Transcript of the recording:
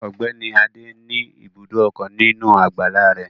Ọ̀gbẹ́ni adé ní ibùdó ọkọ̀ nínú àgbàlá rẹ̀